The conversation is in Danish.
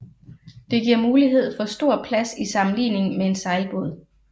Det giver mulighed for stor plads i sammenligning med en sejlbåd